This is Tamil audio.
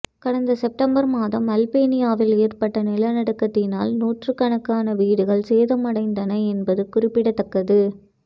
கடந்த செப்டம்பர் மாதம் அல்பேனியாவில் ஏற்பட்ட நிலநடுக்கத்தினால் நூற்றுக்கணக்கான வீடுகள் சேதமடைந்ததன என்பது குறிப்பிடத்தக்கது